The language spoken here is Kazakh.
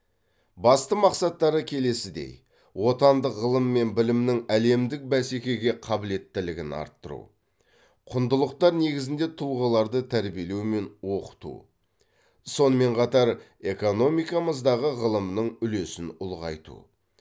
басты мақсаттары келесідей отандық ғылым мен білімнің әлемдік бәсекеге қаблеттілігін арттыру құндылықтар негізінде тұлғаларды тәрбиелеу мен оқыту сонымен қатар экономикамыздағы ғылымның үлесін ұлғайту